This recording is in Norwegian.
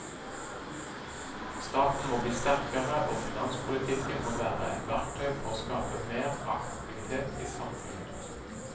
Staten må bli sterkere og finanspolitikken må være et verktøy for å skape mer aktivitet i samfunnet.